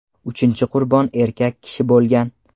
Uchinchi qurbon erkak kishi bo‘lgan.